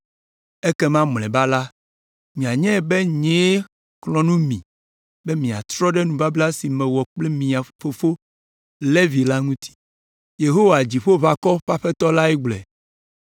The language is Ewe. Ekema mlɔeba la, mianyae be nyee xlɔ̃ nu mi be miatrɔ ɖe nubabla si mewɔ kple mia fofo, Levi la ŋuti.’ ” Yehowa Dziƒoʋakɔwo ƒe Aƒetɔ lae gblɔe.